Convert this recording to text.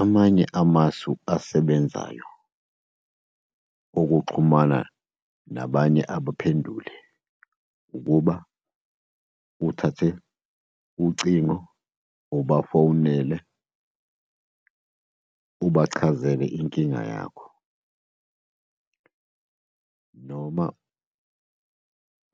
Amanye amasu asebenzayo okuxhumana nabanye abaphenduli ukuba uthathe ucingo ubafowunele, ubachazele inkinga yakho, noma